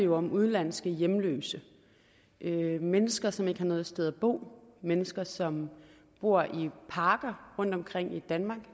om udenlandske hjemløse mennesker som ikke har noget sted at bo mennesker som bor i parker rundtomkring i danmark og